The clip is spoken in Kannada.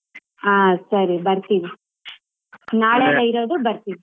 ಹಾ ಸರಿ ಬರ್ತೀವಿ ನಾಳೆ ಬರ್ತೀವಿ.